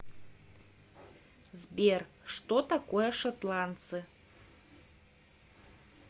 сбер что такое шотландцы